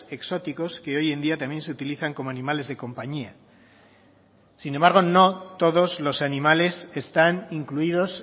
exóticos que hoy en día también se utilizan como animales de compañía sin embargo no todos los animales están incluidos